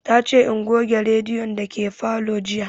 Ta ce in goge rediyon dake falo jiya